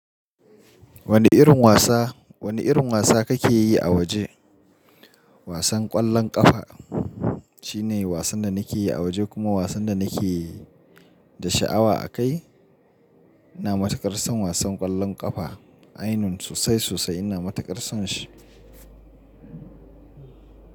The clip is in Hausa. Wani irin wasa, wani irin wasa kake yi a waje? Wasan ƙwallon ƙafa shine wasan da nake yi a waje kuma wasan da nake da sha'awa akai. Ina matuƙar son wasan ƙwallon ƙafa. Ainun sosai-sosai ina matuƙar son shi.